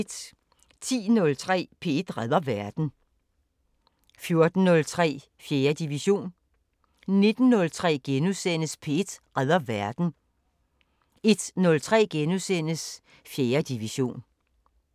10:03: P1 redder verden 14:03: 4. division 19:03: P1 redder verden * 01:03: 4. division *